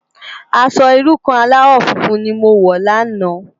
Aṣò irú kàn álàwò fúnfún ni mó wò làná